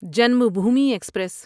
Janmabhoomi express